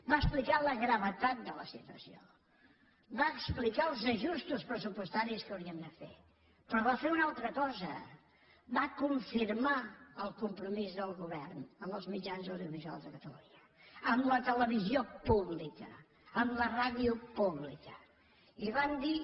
va explicar la gravetat de la situació va explicar els ajustos pressupostaris que hauríem de fer però va fer una altra cosa va confirmar el compromís del govern amb el mitjans audiovisuals de catalunya amb la televisió pública amb la ràdio pública i van dir